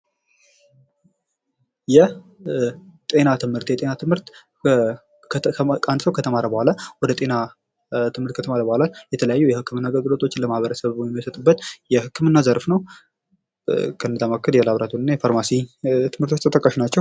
የጤና ትምህርት ከተማረ በኋላ የተለያዩ የህክምና አገልግሎቶችን ለማህበረሰቡ የሚሰጥበት የህክምና ዘርፍ ነው። ከነዚያም መካከል ላቦራቶሪ እና ፋርማሲ ትምህርቶች ተጠቃሽ ናቸው።